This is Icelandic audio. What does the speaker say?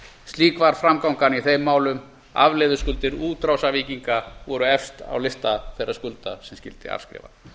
slík var framgangan í þeim málum afleiðuskuldir útrásarvíkinga voru efst á lista þeirra skulda sem skyldi afskrifa